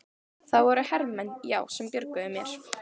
Það voru hermenn, já, sem björguðu mér.